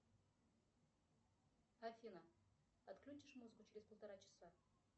афина отключишь музыку через полтора часа